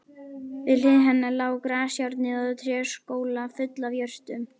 Við hlið hennar lá grasajárnið og tréskjóla full af jurtum.